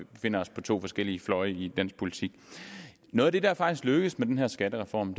befinder os på to forskellige fløje i dansk politik noget af det der faktisk lykkes med den her skattereform